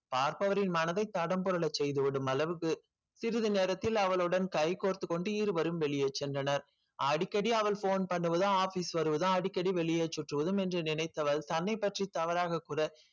பார்ப்பவரின் மனதை தடம் புரள செய்து விடும் அளவுக்கு சிறிது நேரத்தில் அவலுடன் கை கோர்த்து கொண்டு இருவரும் வெளியே சென்றன அடிக்கடி phone பண்ணுவதும் office பண்ணுவதும் அடிக்கடி வெளியே சுற்றுவதும் என்று நினைத்தவள் தன்னை பற்றி தவறாக கூற